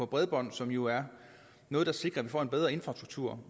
bredbånd som jo er noget der sikrer at vi får en bedre infrastruktur